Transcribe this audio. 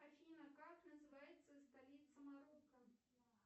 афина как называется столица марокко